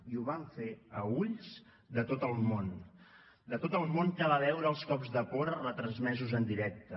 i ho van fer a ulls de tot el món de tot el món que va veure els cops de porra retransmesos en directe